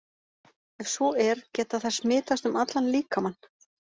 Ef svo er, geta þær smitast um allan líkamann?